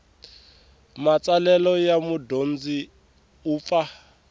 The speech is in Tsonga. matsalelo ya mudyondzi u pfa